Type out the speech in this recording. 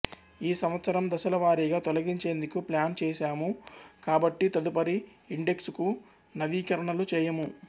ఈ సంవత్సరం దశలవారీగా తొలగించేందుకు ప్లాను చేసాము కాబట్టి తదుపరి ఇండెక్సుకు నవీకరణలు చేయము